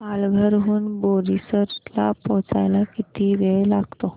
पालघर हून बोईसर ला पोहचायला किती वेळ लागतो